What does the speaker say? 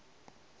ge e ba ba ka